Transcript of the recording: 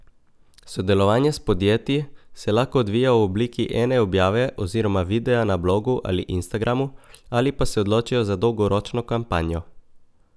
Sodelovanje s podjetji se lahko odvija v obliki ene objave oziroma videa na blogu ali Instagramu ali pa se odločijo za dolgoročno kampanjo.